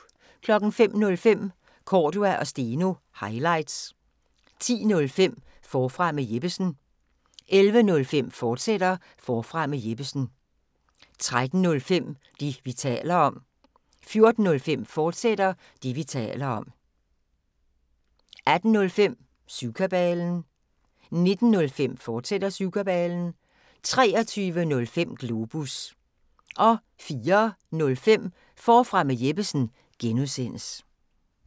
05:05: Cordua & Steno – highlights 10:05: Forfra med Jeppesen 11:05: Forfra med Jeppesen, fortsat 13:05: Det, vi taler om 14:05: Det, vi taler om, fortsat 18:05: Syvkabalen 19:05: Syvkabalen, fortsat 23:05: Globus 04:05: Forfra med Jeppesen (G)